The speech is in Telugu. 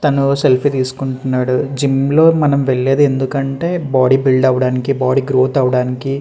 తను సెల్ఫీ తీసుకుంటున్నాడు జిమ్ లో మనం వెళ్ళేది ఎందుకంటే బాడి బిల్డ్ అవ్వడానికి బాడి గ్రోత్ అవ్వడానికి.